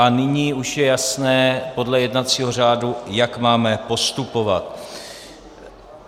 A nyní už je jasné podle jednacího řádu, jak máme postupovat.